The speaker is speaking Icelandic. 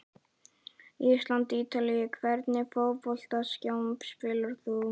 ísland- ítalía Í hvernig fótboltaskóm spilar þú?